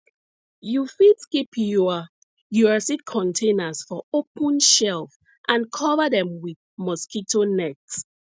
you fit keep your your seed containers for open shelf and cover dem with mosquito net